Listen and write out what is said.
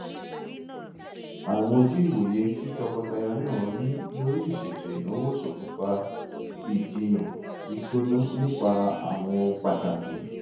àwọn ojú ìwòye tí tọkọtaya náà ní lórí ìṣètò ìnáwó ṣòkùnfà ìjìyàn gbígbóná nípa àwọn ohun pàtàkì